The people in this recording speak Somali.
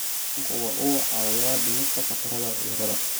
Kalluunku waxa uu caawiyaa dhimista khatarta cudurrada.